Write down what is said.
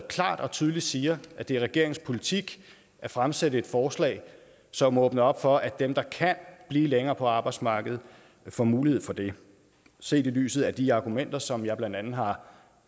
klart og tydeligt siger at det er regeringens politik at fremsætte et forslag som åbner op for at dem der kan blive længe på arbejdsmarkedet får mulighed for det set i lyset af de argumenter som jeg blandt andet har